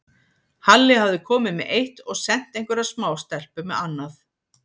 Halli hafði komið með eitt og sent einhverja smástelpu með annað.